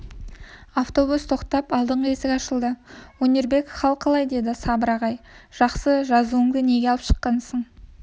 автобус тоқтап алдыңғы есік ашылды өнербек хал қалай деді сабыр ағай жақсы жазуыңды неге алып шыққансың